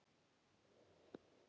Það á um þorpin líka.